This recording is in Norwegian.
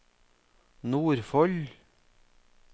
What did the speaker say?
Nordfold